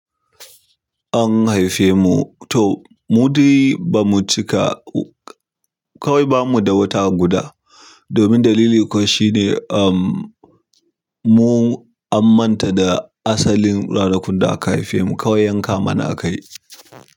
An haife mu, to mu dai ba mu cika kawai ba mu da wata guda. Domin dalili kawai shine, um, mu an manta da asalin ranakun da aka haife mu kawai yanka mana a kai.